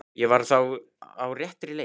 Ég var þá á réttri leið!